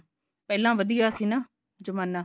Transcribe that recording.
ਪਹਿਲਾਂ ਵਧੀਆ ਸੀ ਨਾ ਜਮਾਨਾ